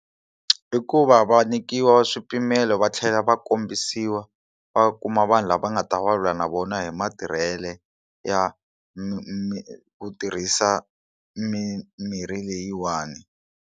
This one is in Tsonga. I ku va va nyikiwa swipimelo va tlhela va kombisiwa va kuma vanhu lava nga ta va lula na vona hi matirhele ya miri ku tirhisa mimirhi leyiwani.